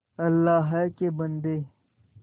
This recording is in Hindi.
अल्लाह के बन्दे